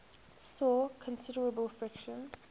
saw considerable friction